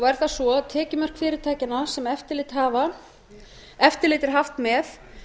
er það svo að tekjumörk fyrirtækjanna sem eftirlit er haft með